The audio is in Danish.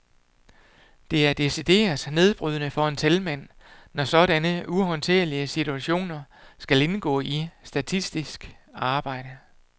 Det er decideret nedbrydende for en talmand, når sådanne uhåndterlige situationer skal indgå i simpelt statistisk arbejde.